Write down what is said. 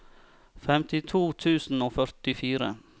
femtito tusen og førtifire